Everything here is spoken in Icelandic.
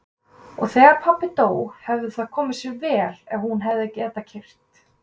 Og þegar pabbi dó hefði það komið sér vel ef hún hefði getað keyrt.